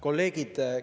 Kolleegid!